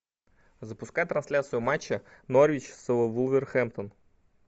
запускай трансляцию матча норвич с вулверхэмптон